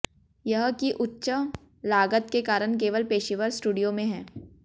यह की उच्च लागत के कारण केवल पेशेवर स्टूडियो में है